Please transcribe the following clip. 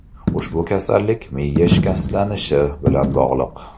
Ushbu kasallik miya shikastlanishi bilan bog‘liq.